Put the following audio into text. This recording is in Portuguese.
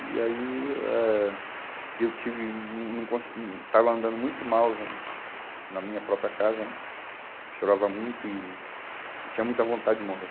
E aí ah eh eu tive hum hum não conse não, estava andando muito mal na na minha própria casa né, chorava muito e e tinha muita vontade de morrer.